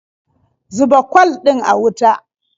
Zuba kwal ɗin a wuta.